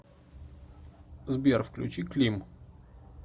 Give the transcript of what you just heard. сбер включи клим